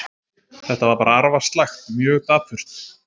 Þetta var bara arfaslakt, mjög dapurt.